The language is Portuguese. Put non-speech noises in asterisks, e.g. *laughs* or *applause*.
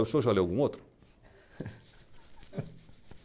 O senhor já leu algum outro? *laughs*